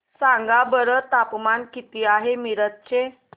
सांगा बरं तापमान किती आहे मिरज चे